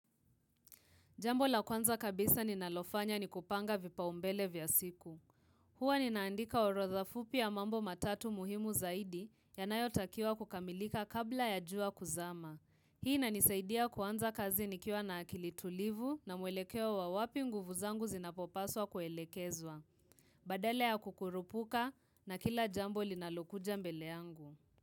Jambo la kwanza kabisa ninalofanya ni kupanga vipaumbele vya siku. Hua ninaandika orodha fupi ya mambo matatu muhimu zaidi yanayotakiwa kukamilika kabla ya jua kuzama. Hii inanisaidia kuanza kazi nikiwa na akili tulivu na mwelekeo wa wapi nguvu zangu zinapopaswa kuelekezwa. Badala ya kukurupuka na kila jambo linalokuja mbele yangu.